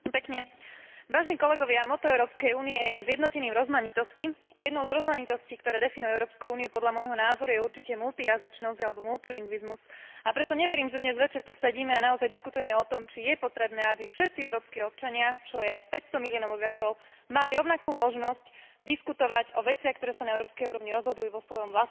Motto Európskej únie je Zjednotení v rozmanitosti a jednou z rozmanitostí, ktoré definujú Európsku úniu, podľa môjho názoru, je určite multijazyčnosť alebo multilingvizmus, a preto neverím, že dnes večer tu sedíme a naozaj diskutujeme o tom, či je potrebné, aby všetci európski občania, čo je 500 miliónov obyvateľov, mali rovnakú možnosť diskutovať o veciach, ktoré sa na európskej úrovni rozhodujú, vo svojom vlastnom jazyku, ktorému rozumejú.